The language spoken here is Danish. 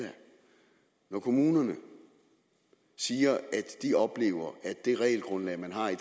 og kommunerne siger at de oplever at det regelgrundlag man har i